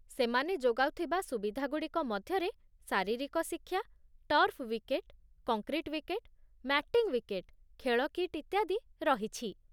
ସେମାନେ ଯୋଗାଉଥିବା ସୁବିଧାଗୁଡ଼ିକ ମଧ୍ୟରେ ଶାରୀରିକ ଶିକ୍ଷା, turf wicket, concrete wicket, matting wicket, ଖେଳ କିଟ୍, ଇତ୍ୟାଦି ରହିଛି